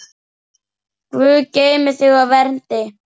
Guð geymi þig og verndi.